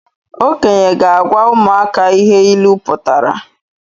Okenye ga-agwa ụmụaka ihe ịlụ pụtara